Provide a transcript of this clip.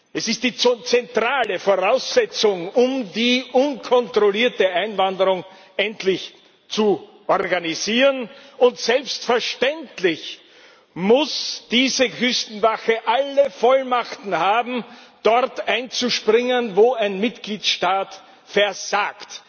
Es ist die zentrale Voraussetzung, um die unkontrollierte Einwanderung endlich zu organisieren, und selbstverständlich muss diese Küstenwache alle Vollmachten haben, dort einzuspringen, wo ein Mitgliedstaat versagt!